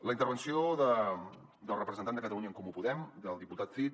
la intervenció del representant de catalunya en comú podem del diputat cid